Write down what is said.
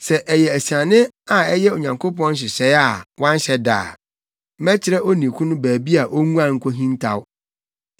Sɛ ɛyɛ asiane a ɛyɛ Onyankopɔn nhyehyɛe a wanhyɛ da a, mɛkyerɛ onii no baabi a onguan nkohintaw.